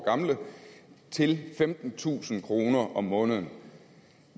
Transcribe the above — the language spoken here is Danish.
gamle til femtentusind kroner om måneden